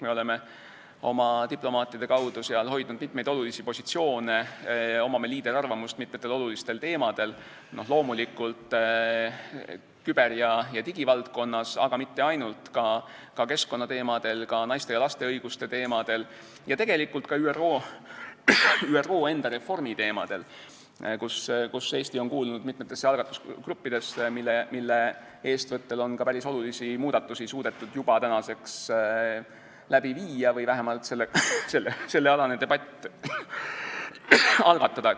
Me oleme oma diplomaatide kaudu seal hoidnud mitmeid olulisi positsioone, meil on liiderarvamus mitmel olulisel teemal, loomulikult küber- ja digivaldkonnas, aga mitte ainult, ka keskkonnateemadel, ka naiste ja laste õiguste teemadel ja tegelikult ka ÜRO enda reformi teemadel, mille puhul Eesti on kuulunud mitmesse algatusgruppi, mille eestvõttel on päris olulisi muudatusi suudetud juba läbi viia või vähemalt debatt algatada.